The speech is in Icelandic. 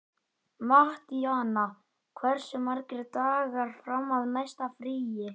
Mattíana, hversu margir dagar fram að næsta fríi?